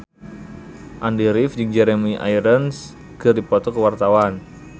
Andy rif jeung Jeremy Irons keur dipoto ku wartawan